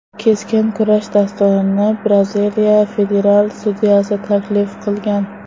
Keskin kurash dasturini Braziliya federal sudyasi taklif qilgan.